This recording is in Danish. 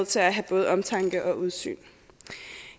til at have både omtanke og udsyn